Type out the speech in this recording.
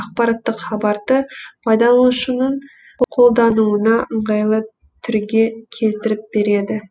ақпараттық хабарды пайдаланушының қолдануына ыңғайлы түрге келтіріп береді